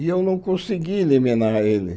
E eu não consegui eliminar ele.